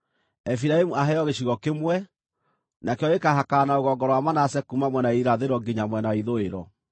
“Efiraimu aheo gĩcigo kĩmwe; nakĩo gĩkaahakana na rũgongo rwa Manase kuuma mwena wa irathĩro nginya mwena wa ithũĩro.